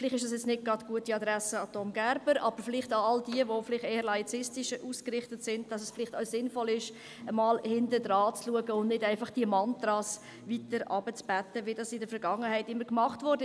Vielleicht richtet sich dies nicht an die gute Adresse von Tom Gerber, aber vielleicht an all jene, die eher laizistisch ausgerichtet sind, dahingehend, dass es vielleicht sinnvoll ist, einmal dahinter zu schauen, statt diese Mantras herunterzubeten, wie dies in der Vergangenheit immer gemacht wurde.